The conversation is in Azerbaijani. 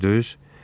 Gördünüz?